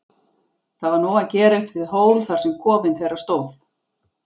Það var nóg að gera uppi við hól þar sem kofinn þeirra stóð.